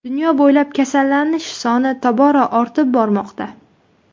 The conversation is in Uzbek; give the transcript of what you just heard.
Dunyo bo‘ylab kasallanish soni tobora ortib bormoqda.